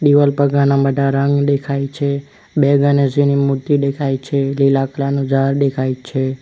દિવાલ પર ઘાના બધા રંગ દેખાય છે બે ગનેશજીની મૂર્તિ દેખાય છે લીલા કલર નું ઝાડ દેખાય છે.